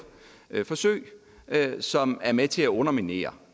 forsøg som er med til at underminere